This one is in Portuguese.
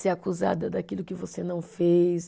Ser acusada daquilo que você não fez.